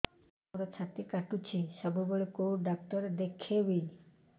ମୋର ଛାତି କଟୁଛି ସବୁବେଳେ କୋଉ ଡକ୍ଟର ଦେଖେବି